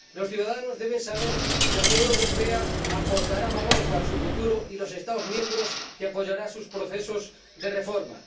Los ciudadanos deben saber que la Unión Europea aportará valor para su futuro y los Estados miembros han de saber que apoyará sus procesos de reforma.